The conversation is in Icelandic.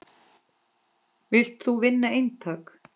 Vilt þú vinna eintak?